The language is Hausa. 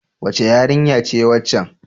Wace yarinya ce waccan?